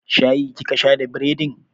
Shayi kika sha da bredin?